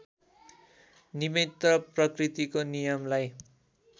निमित्त प्रकृतिको नियमलाई